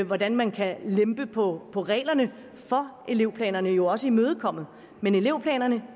hvordan man kan lempe på på reglerne for elevplanerne jo også imødekommet men elevplanerne